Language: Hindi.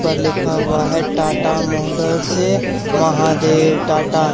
पर लिखा हुआ है टाटा मोटर से महादेव टाटा --